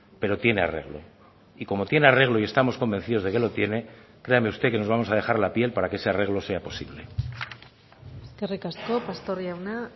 pero tiene arreglo y como tiene arreglo y estamos convencidos de que lo tiene créame usted que nos vamos a dejar la piel para que ese arreglo sea posible eskerrik asko pastor jauna